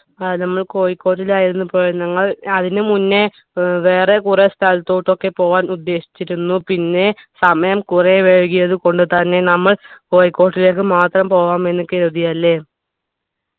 ആ നമ്മൾ കോഴിക്കോട്ടിലായിരുന്നു പോയെ ഞങ്ങൾ അതിന് മുന്നേ ഏർ വേറെ കുറെ സ്ഥലത്തൂട്ടൊക്കെ പോവാൻ ഉദ്ദേശിച്ചിരുന്നു പിന്നെ സമയം കുറെ വൈകിയത് കൊണ്ട് തന്നെ നമ്മൾ കോഴിക്കോട്ടിലേക്ക് മാത്രം പോവാം എന്ന് കരുതി അല്ലെ